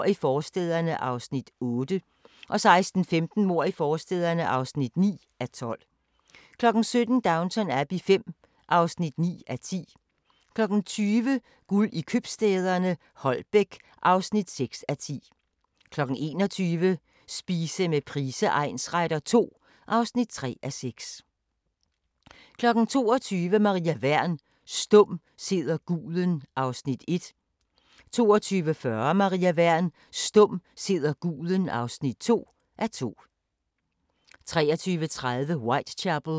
23:30: Whitechapel: I Jack the Rippers fodspor (Afs. 2) 00:15: Whitechapel: I Jack the Rippers fodspor (Afs. 3) 01:00: Strømerne fra Liverpool (Afs. 11) 01:50: Spooks (Afs. 29) 02:40: Boller af stål (Afs. 3) 03:10: Hammerslag 2007 * 03:35: Hammerslag 2007 * 04:05: I hus til halsen (2:8)* 04:40: Danmarks skønneste sommerhus – Finalen